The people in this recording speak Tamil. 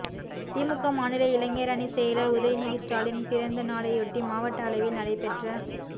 திமுக மாநில இளைஞரணிச் செயலா் உதயநிதி ஸ்டாலின் பிறந்தநாளையொட்டி மாவட்ட அளவில் நடைபெற்ற